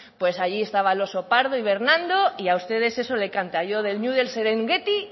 pues allí estaba el oso pardo hibernando y a ustedes eso le canta yo del ñu del serengueti